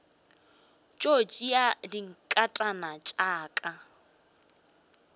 tšo tšea dinkatana tša ka